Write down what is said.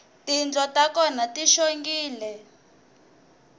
tindlo ta kona ti xongile